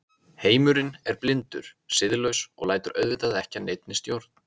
Heimurinn er blindur, siðlaus og lætur auðvitað ekki að neinni stjórn.